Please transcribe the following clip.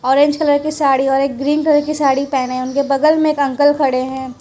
Orange colour की साड़ी और एक ग्रीन कलर की साड़ी पहने उनके बगल में एक अंकल खड़े हैं।